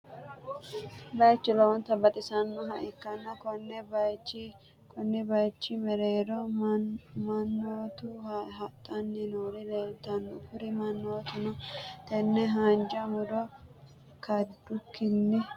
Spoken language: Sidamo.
bayichu lowonta baxisannoha ikanna konni bayiichi mereero mannotu hadhanni noori lelitanno kuri manootinno tenne haanja murro kadukinni mereeronni higge suutunni ikitte sa'ani no.